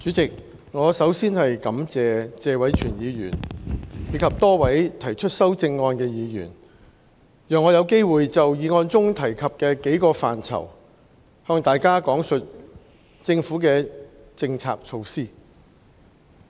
代理主席，我首先感謝謝偉銓議員及多位提出修正案的議員，讓我有機會就議案中提及的幾個範疇，向大家講述政府的政策措施。